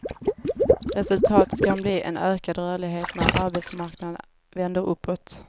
Resultatet kan bli en ökad rörlighet när arbetsmarknaden vänder uppåt.